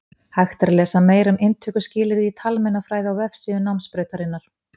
Hægt er að lesa meira um inntökuskilyrði í talmeinafræði á vefsíðu námsbrautarinnar.